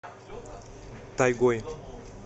тайгой